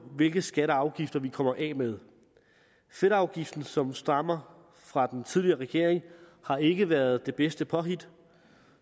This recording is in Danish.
hvilke skatter og afgifter vi kommer af med fedtafgiften som stammer fra den tidligere regering har ikke været det bedste påhit